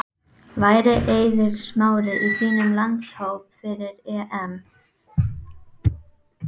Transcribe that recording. Ræðismaðurinn hafði sinnt gestgjafahlutverkinu af leikni.